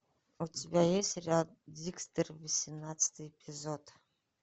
у тебя есть сериал декстер восемнадцатый эпизод